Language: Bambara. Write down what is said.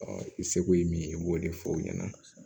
i seko ye min ye u b'o de fɔ o ɲɛna